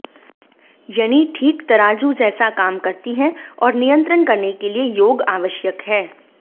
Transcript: यनि ठीक तराजू जैसा काम करती है और नियंत्रण करने के लिए योग आवश्यक है